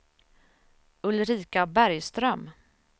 Ulrika Bergström